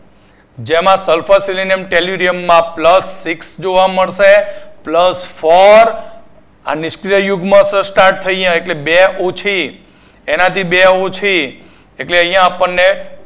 જેમાં sulphur selenium tellurium માં plus six જોવા મળશે plus four આ નિષ્ક્રિય યુગ્મ start થઈ અહીંયા એટલે બે ઓછી, એનાથી બે ઓછી એટલે અહીંયાં આપણને